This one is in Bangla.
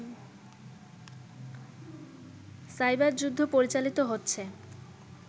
সাইবার যুদ্ধ পরিচালিত হচ্ছে